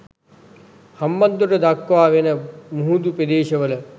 හම්බන්තොට දක්වා වන මුහුදු ප්‍රදේශවල